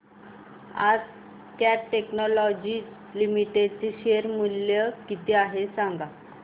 आज Cat technologies limited चे share चे मूल्य किती आहे सांगा